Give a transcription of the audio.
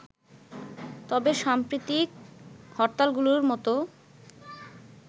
তবে সাম্প্রতিক হরতালগুলোর মতো